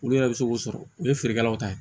Olu yɛrɛ bɛ se k'o sɔrɔ u ye feerekɛlaw ta ye